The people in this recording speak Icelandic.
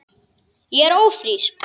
Ég er ófrísk!